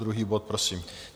Druhý bod prosím.